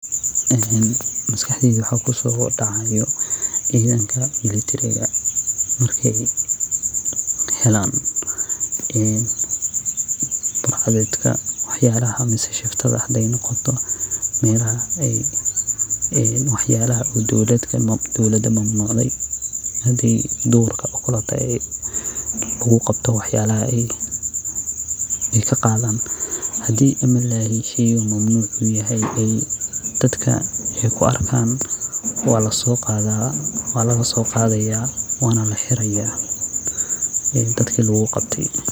Maskaxdeyda waxa kusodaceysa cidanka militariga markey helan burcad mise shuftada hanoqoto waxyalaha ey dowlada mamnucde hadi ey shey mamanuc ah dadka kuarka walasoqada wanlalalsoqada wana laxiraya dadka luguqabte.